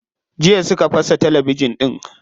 Jiya suka fasa talabijin din.